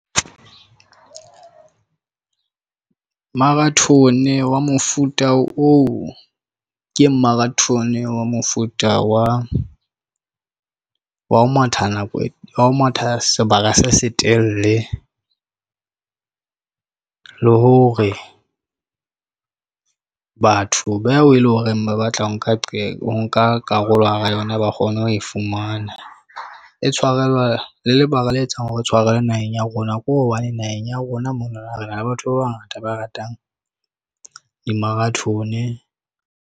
Marathon wa mofuta oo ke Marathon wa mofuta wa ho matha nako ya ho matha sebaka se, se telele le hore batho ba o eleng horeng ba batla ho nka qeto o nka karolo hara yona. Ba kgone ho e fumana e tshwarelwa le lebaka le etsang hore tshwarelwa naheng ya rona ke hobane naheng ya rona, monana, re na le batho ba bangata ba ratang di - Marathon.